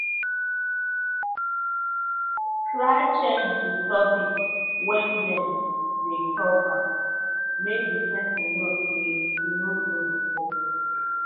try change di topic when dem de talk am make di persin know say you no de interested